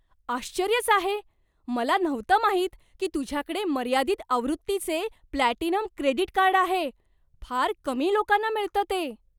आश्चर्यच आहे! मला नव्हतं माहित की तुझ्याकडे मर्यादित आवृत्तीचे प्लॅटिनम क्रेडिट कार्ड आहे. फार कमी लोकांना मिळतं ते.